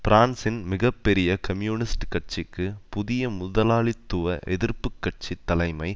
பிரான்சின் மிக பெரிய கம்யூனிஸ்ட் கட்சிக்கு புதிய முதலாளித்துவ எதிர்ப்பு கட்சி தலைமை